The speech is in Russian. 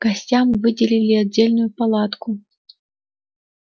гостям выделили отдельную палатку